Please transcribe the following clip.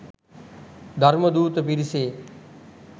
ධර්මදූත පිරිසේ